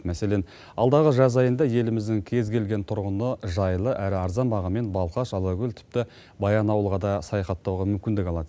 мәселен алдағы жаз айында еліміздің кез келген тұрғыны жайлы әрі арзан бағамен балқаш алакөл тіпті баянауылға да саяхаттауға мүмкіндік алады